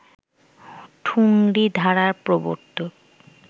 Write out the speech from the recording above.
ঠুংরি ধারার প্রবর্তক